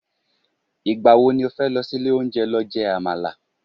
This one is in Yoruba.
igbawo ni o fe lo sí ilè onje lo je amala